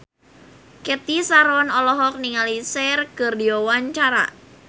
Cathy Sharon olohok ningali Cher keur diwawancara